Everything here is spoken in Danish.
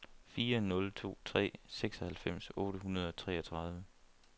fire nul to tre seksoghalvfems otte hundrede og treogtredive